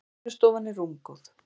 Vinnustofan er rúmgóð.